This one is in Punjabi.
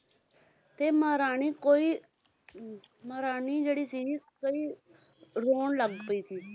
ਤੇ ਮਹਾਰਾਣੀ ਕੋਈ ਹਮ ਮਹਾਰਾਣੀ ਜਿਹੜੀ ਸੀ ਕਈ ਰੌਣ ਲੱਗ ਪਈ ਸੀ